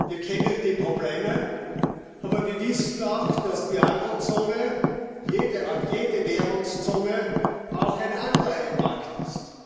Wir kennen die Probleme, aber wir wissen auch, dass die Eurozone, jede Währungszone, auch ein Anleihemarkt ist.